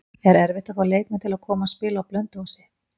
Er erfitt að fá leikmenn til að koma og spila á Blönduósi?